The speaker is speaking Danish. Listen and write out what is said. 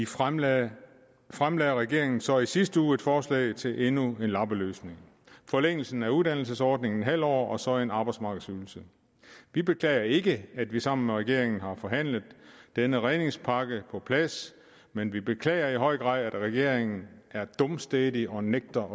fremlagde fremlagde regeringen så i sidste uge et forslag til endnu en lappeløsning forlængelsen af uddannelsesordningen halv år og så en arbejdsmarkedsydelse vi beklager ikke at vi sammen med regeringen har forhandlet denne redningspakke på plads men vi beklager i høj grad at regeringen er dumstædig og nægter